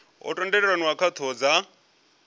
ho tendelaniwa kha dzithoho dza